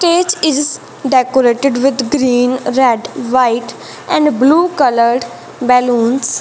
stage is decorated with green red white and blue colour balloons.